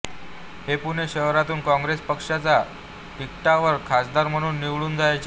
हे पुणे शहरातून काँग्रेस पक्षाच्या तिकिटावर खासदार म्हणून निवडून जायचे